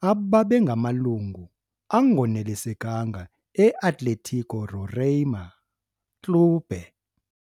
ababengamalungu angonelisekanga e-Atlético Roraima Clube.